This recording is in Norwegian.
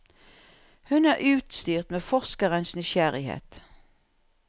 Hun er utstyrt med forskerens nysgjerrighet.